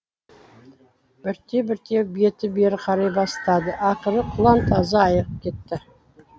бірте бірте беті бері қарай бастады ақыры құлан таза айығып кетті